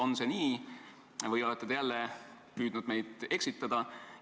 On see nii või olete te jälle püüdnud meid eksitada?